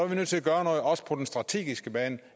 vi nødt til at gøre noget også på den strategiske bane